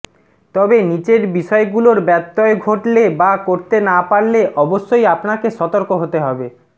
তবে নিচের বিষয় গুলোর ব্যত্তয় ঘটলে বা করতে না পারলে অবশ্যই আপনাকে সতর্ক হতে হবেঃ